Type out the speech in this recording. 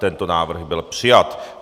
Tento návrh byl přijat.